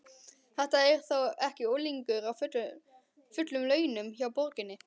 Þetta er þó ekki unglingur á fullum launum hjá borginni?